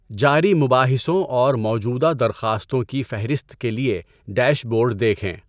جاری مباحثوں اور موجودہ درخواستوں کی فہرست کے لیے ڈیش بورڈ دیکھیں۔